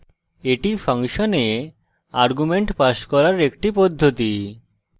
এটি ফাংশনে arguments pass করার একটি পদ্ধতি